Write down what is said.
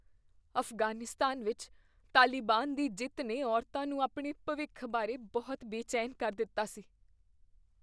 ਅਫ਼ਗਾਨੀਸਤਾਨ ਵਿੱਚ ਤਾਲਿਬਾਨ ਦੀ ਜਿੱਤ ਨੇ ਔਰਤਾਂ ਨੂੰ ਆਪਣੇ ਭਵਿੱਖ ਬਾਰੇ ਬਹੁਤ ਬੇਚੈਨ ਕਰ ਦਿੱਤਾ ਸੀ।